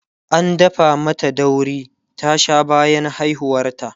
an dafa mata dauri ta Sha bayan haihuwar ta